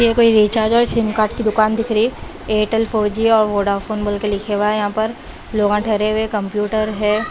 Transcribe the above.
ये कोई रिचार्ज और सिम कार्ड की दुकान दिख रही है एयरटेल फोर जी और वोडाफोन बोल के लिखे हुआ है यहाँ पर लोग ठहरे हुए हैं कंप्यूटर है।